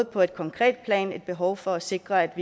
på et konkret plan er et behov for at sikre